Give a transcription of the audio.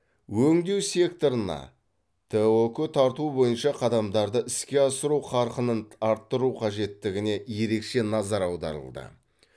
өңдеу секторына тұк тарту бойынша қадамдарды іске асыру қарқынын арттыру қажеттігіне ерекше назар аударылды